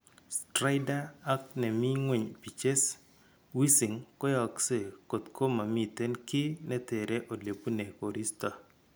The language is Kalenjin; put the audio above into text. Stridor ak ne miiy ngweny pitcges wheezing koyaakse kotko mamiiten kiiy netere ole buune koristo.